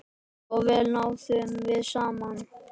Svo vel náðum við saman.